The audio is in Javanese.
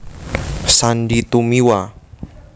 Sandy Tumiwa